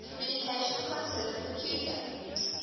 communication considered peculiar